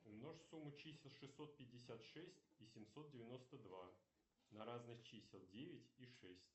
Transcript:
умножь сумму чисел шестьсот пятьдесят шесть и семьсот девяносто два на разность чисел девять и шесть